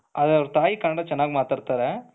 ಆದರೆ ಅವರ ತಾಯಿ ಕನ್ನಡ ಚೆನ್ನಾಗಿ ಮಾತಾಡ್ತಾರೆ,